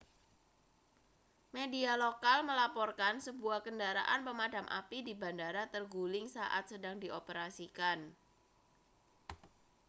media lokal melaporkan sebuah kendaraan pemadam api di bandara terguling saat sedang dioperasikan